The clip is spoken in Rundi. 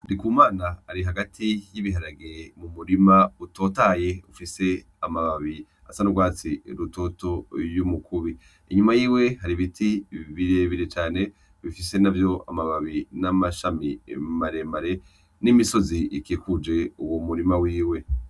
Ndikumana ari hagati y'ibiharage mu murima utotahaye ufise amababi asa n'urwatsi rutoto y'umukubi, inyuma yiwe har'ibiti birebire cane bifise navyo amababi n'amashami maremare n'imisozi iķikuje uwo murima wiwe.